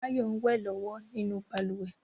Báyọ̀ ń wẹ̀ lọ́wọ́ nínú balùwẹ̀